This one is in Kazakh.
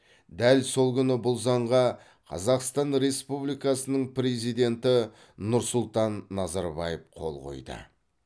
дәл сол күні бұл заңға қазақстан республикасының президенті нұрсұлтан назарбаев қол қойды